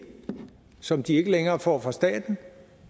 som de ikke længere får fra staten